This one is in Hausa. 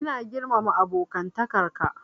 Ina girmama abokantakar ka.